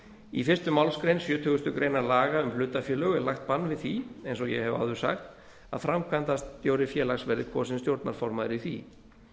í fyrstu málsgrein sjötugustu grein laga um hlutafélög er lagt bann við því eins og ég hef áður sagt að framkvæmdastjóri félags verði kosinn stjórnarformaður í því